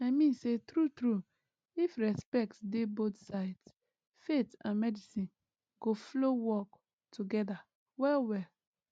i mean say true true if respect dey both sides faith and medicine go flow work together well well